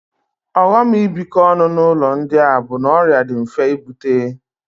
Ọghọm ibikọ ọnụ n'ụlọ ndị a bụ na ọrịa dị mfe ibute